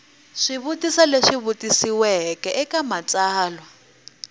swivutiso leswi vutisiweke eka matsalwa